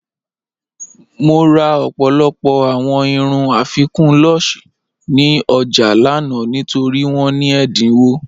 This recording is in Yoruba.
Mo rà ọ̀pọ̀lọpọ̀ awọn irùn afíkun lúṣẹ̀ ní ọjà lànà nítorí wọn ní ẹdínwọ̀.